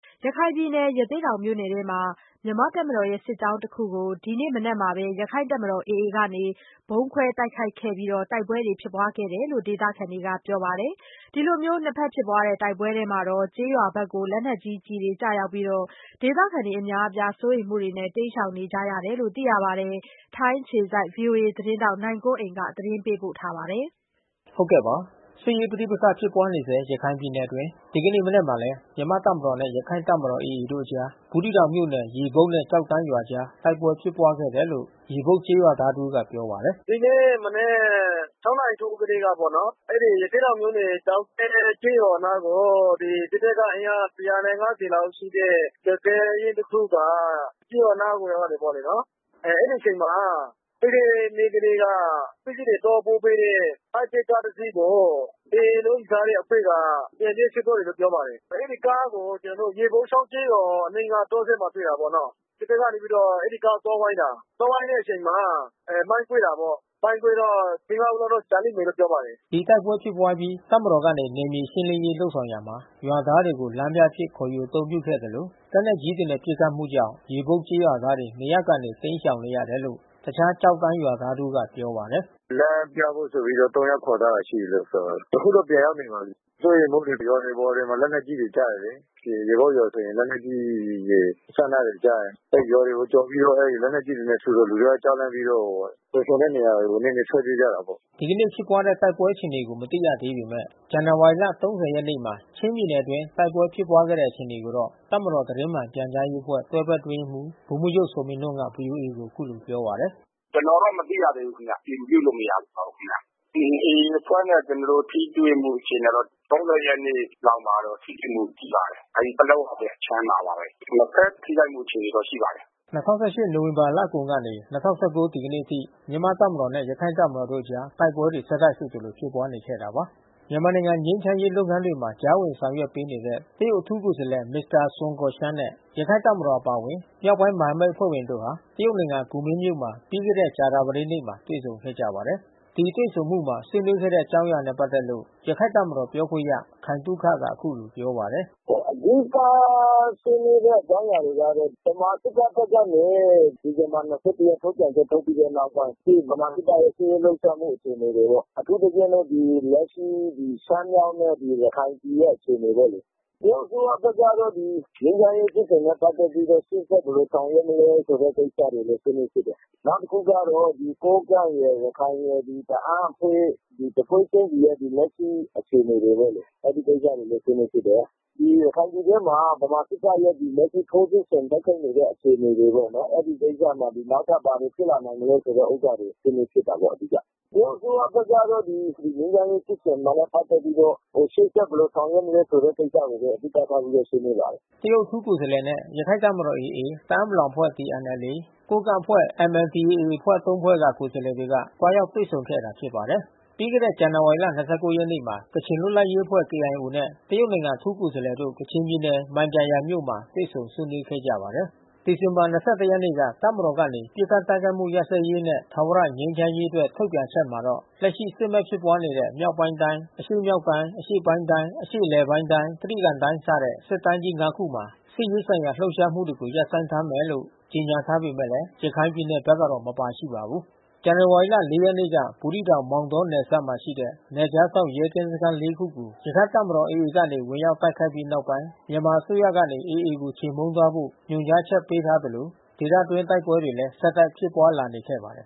ရခိုင်ပြည်နယ် ရသေ့တောင်မြို့နယ်အတွင်း မြန်မာ့တပ်မတော်ရဲ့စစ်ကြောင်းတခုကို ဒီနေ့မနက်မှာ ရခိုင် တပ်မတော် AA ကနေ ဗုံးခွဲတိုက်ခိုက်ခဲ့ပြီး တိုက်ပွဲဖြစ်ပွါးခဲ့တယ်လို့ ဒေသခံတွေကပြောပါတယ်။ ဒီလိုဖြစ်ပွါးတဲ့ တိုက်ပွဲအတွင်း ကျေးရွာဘက်ကို လက် နက်ကြီး ကျည်တွေကျရောက်ပြီး စိုးရိမ်မှုနဲ့ တိမ်းရှောင်နေရတယ်လို့လည်း ဆိုပါတယ်။ ထိုင်း အခြေစိုက် ဗွီအိုအေသတင်းထောက်နိုင်ကွန်းအိန်ကနေ သတင်းပေးပို့ထားပါတယ်။ စစ်ရေးပဋိပက္ခဖြစ်ပွါးနေဆဲ ရခိုင်ပြည်နယ်အတွင်း ဒီကနေ့မနက်မှာလည်း မြန်မာ့ တပ်မတော်နဲ့ ရခိုင်တပ်မတော်တို့ အကြား ဘူးသီးတောင်မြို့နယ် ရေပုပ်နဲ့ကျောက်တန်း ရွာ အကြားတိုက်ပွဲဖြစ်ပွါးခဲ့တယ်လို့ ရေပုပ်ကျေးရွာသား တဦးကပြောပါတယ်။ “ဒီနေ့မနက် နာရီထိုးပြီးကတည်းကပေါ့နော်။ အဲဒီရသေ့တောင်မြို့နယ် ကျောက်တန်းကျေးရွာနားကို စစ်တပ်က အင်အား လောက်ရှိတဲ့ စစ်တန်းတခုက ကျေးရွာနားကိုရောက်တယ်ပေါ့လေနော်။ အဲဒီအချိန်မှာ ပြီးခဲ့တဲ့နေ့ကတည်းက ပစ္စည်းတွေ သွားပို့ပေးတဲ့ ဟိုက်ဂျက်ကားတစီးကို AA လှုပ်ရှားတဲ့အဖွဲ့က ပြန်ပေးဆွဲသွားတယ်လို့ ပြောပါတယ်။ အဲဒီကားကို ရေပုပ်ချောင်းကျေးရွာအနီးနားတောစပ်မှာတွေ့တာပေါ့နော်။ စစ်တပ်ကနေပြီးတော့ အဲဒီကားကိုသွားဝိုင်းတာ သွားဝိုင်းတဲ့အချိန်မှာ မိုင်းကွဲတာပေါ့။ မိုင်းကွဲတော့ ဦးလောက် ကျလိမ့်မယ်လို့ ပြောပါတယ်။” ဒီတိုက်ပွဲဖြစ်ပွါးအပြီးတပ်မတော်ကနေ နယ်မြေရှင်းလင်းရေးလုပ်ဆောင်ရာမှာ ရွာသားတွေကို လမ်းပြအဖြစ် ခေါ်ယူအသုံးပြုခဲ့သလို လက်နက်ကြီးတွေနဲ့ ပစ်ခတ် မှုကြောင့် ရေပုပ်ကျေးရွာသားတွေ နေရပ်ကနေ တိမ်းရှောင် နေရတယ်လို့ တခြားကျောက်တန်းရွာသားတဦးကပြောပါတယ်။ “လမ်းပြဖို့ဆိုပြီးတော့ ယောက်လောက်ခေါ်သွားတယ်လို့ပြောပါတယ်။ အခုတော့ပြန်ရောက်နေပါပြီ။ စိုးရိမ်မှု တွေ ရွာတွေအပေါ်တွေ လက်နက်ကြီးတွေ ကျတယ်လေ။ ရေပုပ်ရွာမှာဆိုရင် လက်နက်ကြီးတွေ အစအနတွေကျ တယ်။ အဲဒီရွာတွေ ကိုကျော်ပြီးတော့ အဲဒီလက်နက်ကြီးတွေနဲ့ထုတယ်။ လူတွေကြောက်လန့်ပြီးတော့ လုံခြုံတဲ့ နေရာကို ထွက်ပြေးကြတာပေါ့။” ဒီကနေ့ဖြစ်ပွါးတဲ့တိုက်ပွဲအခြေအနေကို မသိရှိရသေးပေမယ့် ဇန်နဝါရီ ရက်နေ့မှာ ချင်းပြည်နယ်အတွင်း တိုက်ပွဲဖြစ်ပွါးခဲ့တဲ့အခြေအနေကိုတော့ တပ်မတော် သတင်းမှန်ပြန်ကြားရေးအဖွဲ့ တွဲဘက်အတွင်းရေးမှူး ဗိုလ်မှူးချုပ် ဇော်မင်းထွန်းက ဗွီအိုအေကိုအခုလိုပြောပါတယ်။ “ကျနော်တော့မသိရသေးဘူးခင်ဗျ။ အတည်ပြုလို့မရသေးပါဘူးခင်ဗျ။ AA အဖွဲ့နဲ့ ကျနော်တို့ ထိတွေ့မှု အခြေ အနေက ရက်နေ့မှာတော့ ထိတွေ့မှုရှိပါတယ်။ အဲဒီ ပလက်ဝဘက်အခြမ်းမှာပါပဲ။ နှစ်ဖက်ထိခိုက်မှု အခြေအနေတော့ ရှိပါတယ်။” ၂၀၁၈ နိုဝင်ဘာလကုန်ကနေ ၂၀၁၉ ဒီကနေ့အထိမြန်မာ့တပ်မတော်နဲ့ ရခိုင် တပ်မတော်တို့အကြား တိုက်ပွဲတွေ ဆက်တိုက်ဆိုသလိုဖြစ်ပွါးနေခဲ့တာပါ။ မြန်မာနိုင်ငံ ငြိမ်းချမ်းရေးလုပ်ငန်းတွေမှာ ကြားဝင်ဆောင်ရွက်ပေးနေတဲ့ တရုတ်အထူး ကိုယ်စားလှယ် မစ္စတာ ဆွန်း ကော်ရှန်းနဲ့ ရခိုင်တပ်မတော်အပါအဝင် မြောက်ပိုင်း မဟာမိတ် အဖွဲ့ဝင်တို့ဟာ တရုတ်နိုင်ငံ ကူမင်းမြို့မှာ ပြီးခဲ့တဲ့ ကြာသပတေးနေ့မှာ တွေ့ဆုံခဲ့ကြပါတယ်။ ဒီတွေ့ဆုံမှုမှာ ဆွေးနွေးခဲ့တဲ့အကြောင်းအရာတွေနဲ့ပက်သက်လို့ ရခိုင့်တပ်မတော် ပြောခွင့်ရ ခိုင်သုခက အခုလို ပြောပါတယ်။ “အဓိကဆွေးနွေးတဲ့အကြောင်းအရာတွေကတော့ ဗမာစစ်တပ်ဘက်ကနေ ဒီဇင်ဘာ ရက်နေ့ ထုတ်ပြန်ချက် ထုတ်ပြန်ပြီးနောက်ပိုင်း အခု ဗမာစစ်တပ်ရဲ့စစ်ရေး လှုပ်ရှား မှု အခြေအနေတွေပေါ့။ အထူးသဖြင့်တော့ ဒီရှမ်းမြောက်နဲ့ ရခိုင်ပြည်ရဲ့ အခြေ အနေ ပေါ့လေ။ တရုတ်အစိုးရဘက်ကတော့ ဒီငြိမ်းချမ်းရေးဖြစ်စဉ်နဲ့ ပက်သက်ပြီးတော့ ရှေ့ဆက် ဘယ်လိုဆောင်ရွက်မလဲ ဆိုတဲ့ကိစ္စတွေကိုလည်း ဆွေးနွေးဖြစ်တယ်။ နောက် တခုက ကိုးကန့်ရယ်၊ ရခိုင်ရယ်၊ တအာင်းအဖွဲ့ တဖွဲ့ချင်းစီရဲ့လက်ရှိအခြေအနေ တွေပေါ့လေ။ အဲဒီ ကိစ္စတွေ ကိုလည်း ဆွေးနွေးဖြစ်တယ်။ ရခိုင်ပြည်တွင်းမှာ ဗမာ စစ်တပ်ရဲ့ လက်ရှိထိုးစစ်ဆင်တိုက်ခိုက်နေတဲ့ အခြေအနေတွေပေါ့နော်၊ အဲဒီကိစ္စမှာ နောက်ထပ်ဘာတွေဖြစ်လာနိုင်မလဲဆိုတဲ့ ဥစ္စာတွေ ဆွေးနွေးဖြစ်တယ်ပေါ့အဓိက။” တရုတ်အထူးကိုယ်စားလှယ်နဲ့ ရခိုင့်တပ်မတော် AA၊ တအာင်းပလောင်အဖွဲ့ TNLA၊ ကိုးကန့်အဖွဲ့ MNDAA အဖွဲ့ ၃ ဖွဲ့က ကိုယ်စားလှယ်တွေက သွားရောက်တွေ့ဆုံခဲ့တာ ဖြစ်ပါတယ်။ ပြီးခဲ့တဲ့ ဇန်နဝါရီလ ၂၉ မှာ ကချင်လွှတ်လပ်ရေးအဖွဲ့ KIO နဲ့ တရုတ်နိုင်ငံ အထူး ကိုယ်စားလှယ်တို့ ကချင်ပြည် နယ် မိုင်ဂျာယန်မြို့မှာ တွေ့ဆုံဆွေးနွေးခဲ့ပါတယ်။ ဒီဇင်ဘာ ရက်နေ့က တပ်မတော်ကနေပစ်ခတ်တိုက်ခိုက်မှုရပ်စဲရေးနဲ့ ထာဝရငြိမ်းချမ်းရေးအတွက် ထုတ်ပြန်ချက်မှာတော့ လက်ရှိစစ်မက်ဖြစ်ပွါးနေတဲ့ မြောက်ပိုင်းတိုင်း၊ အရှေ့မြောက်တိုင်း၊ အရှေ့ပိုင်းတိုင်း၊ အရှေ့အလယ် ပိုင်းတိုင်း၊ တြိဂံတိုင်းစတဲ့ စစ်တိုင်း ၅ ခုမှာ စစ်ရေးဆိုင်ရာလှုပ်ရှားမှုတွေရပ်ဆိုင်းထားမယ်လို့ ကြေညာထားပေမယ့် ရခိုင်ပြည်နယ်ဘက်တော့မပါရှိပါဘူး။ ဇန်နဝါရီ ရက်နေ့က ဘူးသီးတောင် မောင်တောနယ်စပ်မှာရှိတဲ့ နယ်ခြားစောင့်ရဲ ကင်းစခန်း ခုကို ရခိုင့်တပ်မတော် AA ကနေ ဝင်ရောက်တိုက်ခိုက်ပြီးနောက်ပိုင်း မြန်မာအစိုးရကနေ AA ကို ချေမှုန်းသွားဖို့ ညွှန်ကြားထားသလို ဒေသအတွင်း တိုက်ပွဲတွေလည်း ဆက်တိုက်ဖြစ်ပွါးလာနေခဲ့ပါတယ်